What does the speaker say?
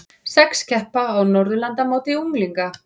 Sex keppa á Norðurlandamóti unglinga